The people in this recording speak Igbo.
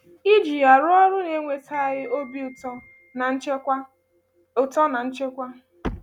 Iji um ya rụọ ọrụ na-eweta anyị obi ụtọ na nchekwa. ụtọ na nchekwa.